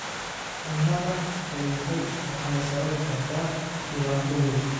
Cunnada qudhuntay waxay sababi kartaa dhibaato weyn.